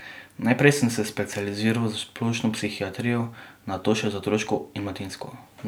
Najprej sem se specializiral za splošno psihiatrijo, nato še za otroško in mladinsko.